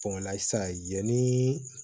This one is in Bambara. sisan yanni